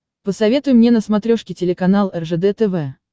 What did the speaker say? посоветуй мне на смотрешке телеканал ржд тв